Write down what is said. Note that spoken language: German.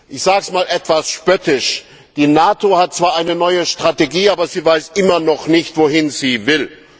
Ich sage es einmal etwas spöttisch Die NATO hat zwar eine neue Strategie, aber sie weiß immer noch nicht, wohin sie will.